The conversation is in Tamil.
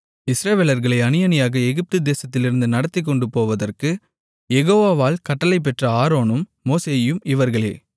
இஸ்ரவேலர்களை அணியணியாக எகிப்து தேசத்திலிருந்து நடத்திக்கொண்டு போவதற்குக் யெகோவால் கட்டளை பெற்ற ஆரோனும் மோசேயும் இவர்களே